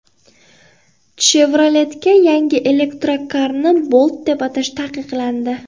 Chevrolet’ga yangi elektrokarni Bolt deb atash taqiqlandi.